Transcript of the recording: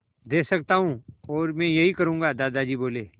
दे सकता हूँ और मैं यही करूँगा दादाजी बोले